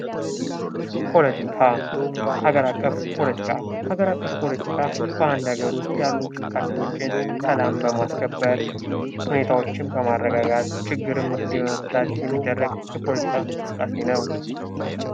ፓለቲካ ፦ ሀገር አቀፍ ፓለቲካ ፦ ሀገር አቀፍ ፓለቲካ በአንድ ሀገር ውስጥ ያሉ እንቅስቃሴዎችን ሰላም በማስከበር ፣ ሁኔታዎችን በማረጋጋት ።፣ ችግርን መፍትሄ በመፍታት የሚደረግ የፓለቲካ እንቅስቃሴ ነው ።